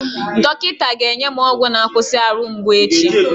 Dọkịta ga-enye m ọgwụ na-akwụsị ahụ mgbu echi.